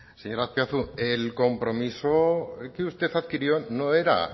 señor azpiazu el compromiso que usted adquirió no era